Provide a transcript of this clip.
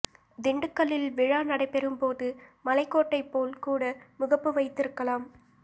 திண்டுக்கல்லில் விழா நடைபெறும் போது மலைக்கோட்டை போல் கூட முகப்பு வைத்து இருக்கலாம்